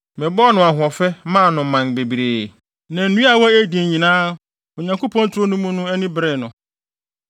Mebɔɔ no ahoɔfɛ maa no mman bebree, na nnua a ɛwɔ Eden nyinaa Onyankopɔn turo no mu no ani beree no.